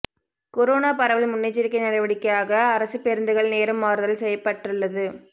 corona பரவல் முன்னெச்சரிக்கை நடவடிக்கையாக அரசு பேருந்துகள் நேரம் மாறுதல் செய்யப்பட்டுள்ளது